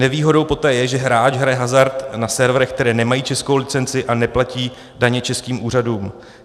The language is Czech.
Nevýhodou poté je, že hráč hraje hazard na serverech, které nemají českou licenci a neplatí daně českým úřadům.